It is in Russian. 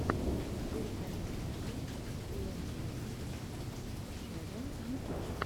зверько мобайл лэджендс ченнал ютюб